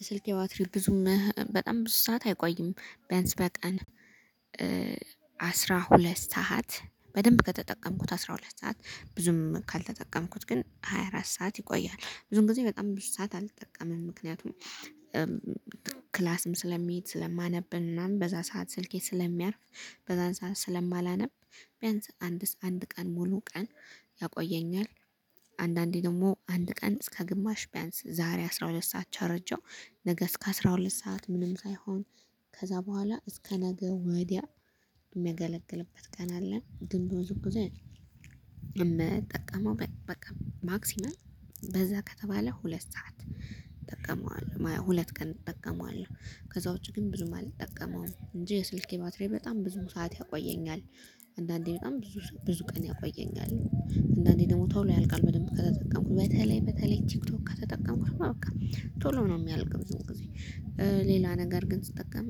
የስልኬ ባትሪ ብዙም በጣም ብዙ ሰዓት አይቆይም ቢያንስ በቀን አስራ ሁለት ሰዓት በደንብ ከተጠቀምኩት አስራ ሁለት ሰዓት ብዙም ካልተጠቀምኩት ግን ሃያ አራት ሰዓት ይቆያል ብዙም ጊዜ በጣም ብዙ ሰዓት አልጠቀምም ምክንያቱም ክላስም ስለምሄድ ስለማነብን ምናምን በዛ ሰዓት ስልኬ ስለሚያርፍ በዛን ሰዓት ስለማላነብ ቢያንስ አንድ አንድ ቀን ሙሉ ቀን ያቆየኛል። አንዳንዴ ደግሞ አንድ ቀን እስከ ግማሽ ቢያንስ ዛሬ አስራ ሁለት ሰዓት ቸርጄው ነገ እስከ አስራ ሁለት ሰዓት ምንም ሳይሆን ከዛ በኋላ እስከ ነገ ወዲያ እሚያገለግልበት ቀን አለ። ግን በብዙ ጊዜ የምጠቀመው በቃ ማክሲመም በዛ ከተባለ ሁለት ሰዓት እጠቀመዋለሁ ሁለት ቀን እጠቀመዋለሁ ከዛ ውጪ ግን ብዙም አልጠቀመውም እንጂ የስልኬ ባትሪ በጣም ብዙ ሰዓት ያቆየኛል። አንዳንዴ በጣም ብዙ ብዙ ቀን ያቆየኛል። እንድአንዴ ደግሞ ቶሎ ያልቃል በደንብ ከተጠቀምኩት በተለይ በተለይ ቲክቶክ ከተጠቀምኩ እማ በቃ ቶሎ ነው እሚያልቅ ብዙ ጊዜ። ሌላ ነገር ግን ስጠቀም